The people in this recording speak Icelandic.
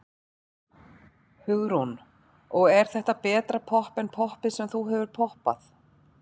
Hugrún: Og er þetta betra popp en poppið sem þú hefur poppað?